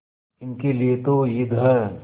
इनके लिए तो ईद है